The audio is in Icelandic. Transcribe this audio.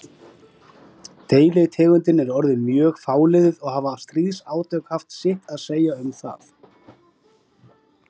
Deilitegundin er orðin mjög fáliðuð og hafa stríðsátök haft sitt að segja um það.